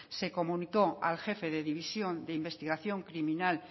se comunicó al jefe de división de investigación criminal